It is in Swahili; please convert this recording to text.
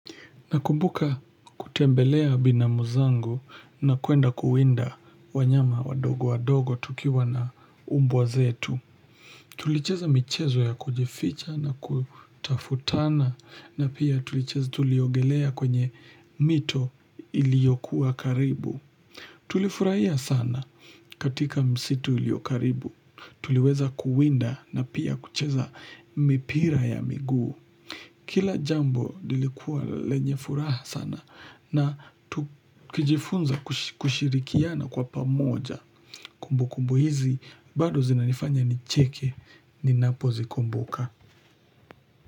Nakumbuka kutembelea binamu zangu na kwenda kuwinda wanyama wadogo wadogo tukiwa na umbwa zetu. Tulicheza michezo ya kujificha na kutafutana na pia tulicheza tuliogelea kwenye mito iliyokuwa karibu. Tulifurahia sana katika msitu ulio karibu. Tuliweza kuwinda na pia kucheza mipira ya miguu. Kila jambo lilikuwa lenye furaha sana na kujifunza kushirikiana kwa pamoja kumbukumbu hizi bado zinanifanya nicheke ninapozikumbuka.